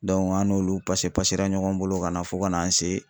an n'olu ɲɔgɔn bolo ka na fo ka n'an se